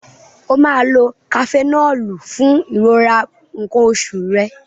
O máa lo Kafenọ́ọ̀lù fún ìrora nǹkan oṣù rẹ.